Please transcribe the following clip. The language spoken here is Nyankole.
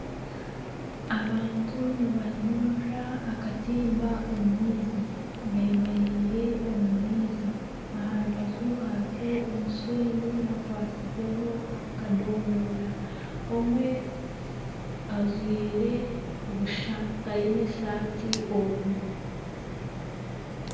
Abantu nibanyurura akatimba omu maizi bemereire omu maizi aha rubaju hariho omushenyi hakwatsizeho akadomora omwe ajwaire busha taine saati oruguru.